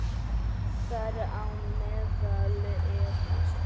Þar á meðal eru